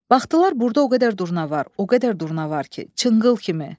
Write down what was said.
Baxdılar burda o qədər durna var, o qədər durna var ki, çınqıl kimi.